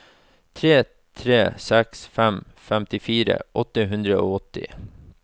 tre tre seks fem femtifire åtte hundre og åtti